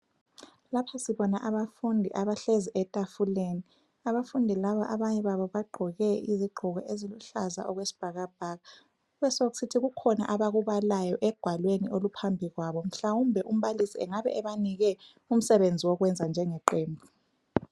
Lapha sibona abafundi abahlezi etafuleni. Abafundi laba abanye babo bagqoke izigqoko eziluhlaza okwesibhakabhaka. Kubesokusithi kukhona abakubalayo egwalweni oluphambi kwabo mhlawumbe umbalisi engabe ebanike umsebenzi wokwenza njengeqembu.